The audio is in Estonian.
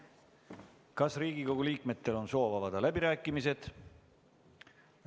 Kas Riigikogu liikmetel on soov avada läbirääkimised?